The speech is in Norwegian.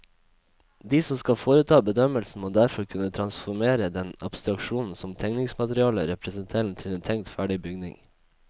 De som skal foreta bedømmelsen, må derfor kunne transformere den abstraksjonen som tegningsmaterialet representerer til en tenkt ferdig bygning.